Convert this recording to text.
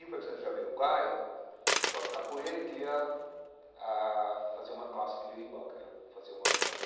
E o percussionista do Jamiroquai joga capoeira e queria ah fazer uma classe de berimbau, queria fazer um workshop.